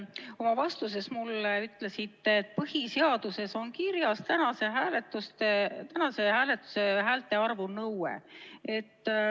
Oma vastuses te ütlesite mulle, et põhiseaduses on kirjas tänase hääletuse häälte arvu nõue.